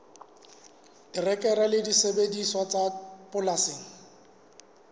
terekere le disebediswa tsa polasing